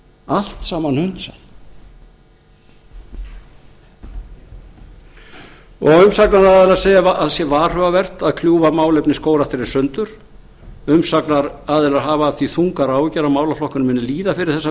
allt saman hundsað og umsagnaraðilar segja að það sé varhugavert að kljúfa málefni skógræktarinnar í sundur umsagnaraðilar hafa af því þungar áhyggjur að málaflokkurinn muni líða fyrir þessa